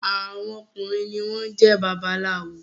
Àwọn ọkùnrin ní wón jé babaláwo